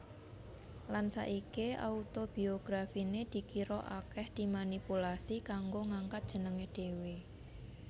Lan saiki autobiografiné dikira akèh dimanipulasi kanggo ngangkat jenengé dhéwé